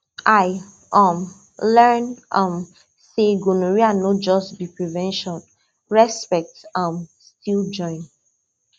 i um learn um say gonorrhea no just be prevention respect um still join